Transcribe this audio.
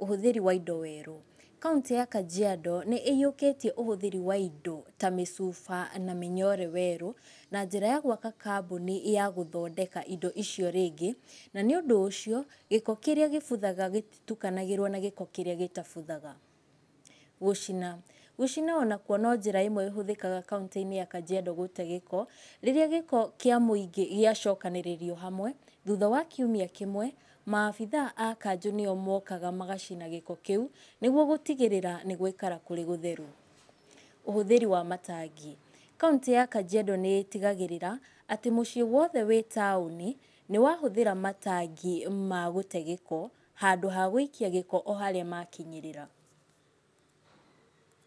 Ũhũthĩri wa indo werũ. Kauntĩ ya Kajiando nĩ ĩhiũkĩtie ũhũthĩri wa indo ta mĩcuba na mĩnyore werũ, na njĩra ya gwaka kambuni ya gũthondeka indo icio rĩngĩ, na nĩ ũndũ ũcio, gĩko kĩrĩa gĩbuthaga gĩtitukanagĩrwo na gĩko kĩrĩa gĩtabuthaga. Gũcina. Gũcina onakwo no njĩra ĩmwe ĩhũthĩkaga kauntĩ-inĩ ya Kajiando gũte gĩko, rĩrĩa gĩko kĩa mũingĩ gĩacokanĩrĩrio hamwe, thutha wa kiumia kĩmwe, maabitha a kanjũ nĩo mokaga magacina gĩko kĩu, nĩguo gũtigĩrĩra nĩ gwaikara kũrĩ gũtheru. Ũhũthĩri wa matangi. Kauntĩ ya Kajiando nĩ ĩtigagĩrĩra atĩ mũciĩ wothe wĩ taũni, nĩ wahũthĩra matangi ma gũte gĩko, handũ ha gwĩikia gĩko o harĩa makinyĩrĩra.